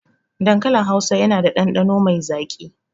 Dankalin hausa yana da ɗanɗano mai zaƙi